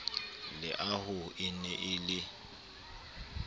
leaho e ne e le